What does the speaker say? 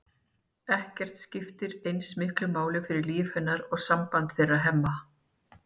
Ekkert skiptir eins miklu máli fyrir líf hennar og samband þeirra Hemma.